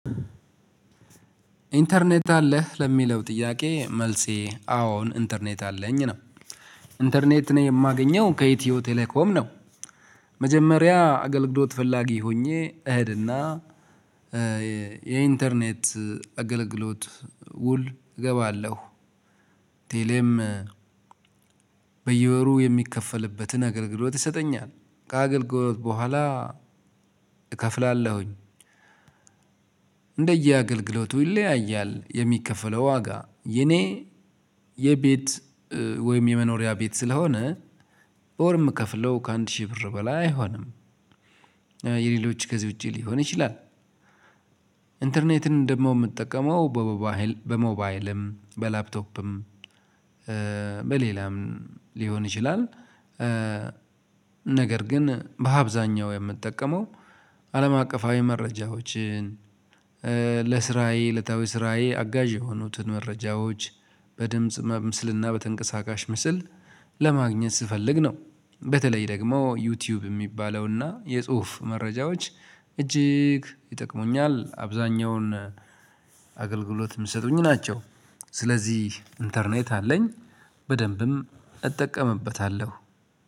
ኢንተርኔት አለህ ለሚለው ጥያቄ መልሴ አዎን ኢንተርኔት አለኝ ነው። ኢንተርኔትን የማገኘው ከኢትዮ ቴሌኮም ነው። መጀመሪያ አገልግሎት ፈላጊ ሆኜ እሄድና የኢንተርኔት አገልግሎት ውል እገባለሁ። ቴሌም በየወሩ የሚከፈልበትን አገልግሎት ይሰጠኛል ከአገልግሎት በኋላ እከፍላለሁኝ። እንደየአገልግሎቱ ይለያያል የሚከፈለው ዋጋ የኔ የቤት ወይም የመኖሪያ ቤት ስለሆነ በወር ምከፍለው ከአንድ ሺህ ብር በላይ አይሆንም። የሌሎች ገዚህ ውጪ ሊሆን ይችላል። ኢንተርኔትን ደግሞ ምጠቀመው በሞባይል በሞባይልም በላፕቶፕም በሌላም ሊሆን ይችላል። ነገር ግን በአብዛኛው የምጠቀመው አለም አቀፋዊ መረጃዎችን ለስራዬ እለታዊ ስራዬ አጋዥ የሆኑትን መረጃዎች በድምጽ በምስልና በተንቀሳቃሽ ምስል ለማግኘት ስፈልግ ነው። በተለይ ደግሞ ዩቲዩብ የሚባለውና የጽሁፍ መረጃዎች እጅግ ይጠቅሙኛል አብዛኛውን አገልግሎት የምሰጡኝ ናቸው። ስለዚህ ኢንተርኔት አለኝ በደንብም እጠቀምበታለሁ።